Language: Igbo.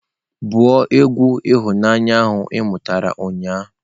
Bụ egwu ihunanya ị mụtara ụnyaahụ!